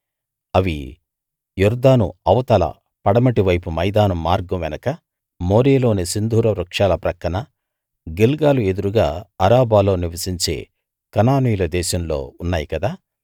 అవి యొర్దాను అవతల పడమటి వైపు మైదానం మార్గం వెనుక మోరేలోని సింధూరవృక్షాల పక్కన గిల్గాలు ఎదురుగా అరాబాలో నివసించే కనానీయుల దేశంలో ఉన్నాయి కదా